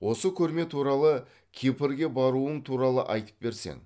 осы көрме туралы кипрге баруың туралы айтып берсең